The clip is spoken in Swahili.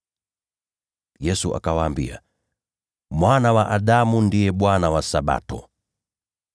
Yesu akawaambia, “Mwana wa Adamu ndiye Bwana wa Sabato.”